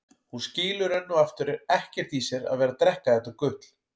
Hún skilur enn og aftur ekkert í sér að vera að drekka þetta gutl.